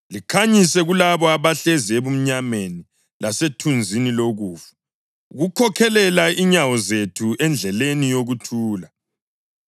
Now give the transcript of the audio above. likhanyise kulabo abahlezi ebumnyameni lasethunzini lokufa, ukukhokhelela inyawo zethu endleleni yokuthula.”